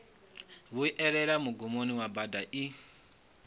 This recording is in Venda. vhuelela mugumoni wa bada i